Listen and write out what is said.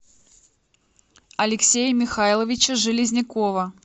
алексея михайловича железнякова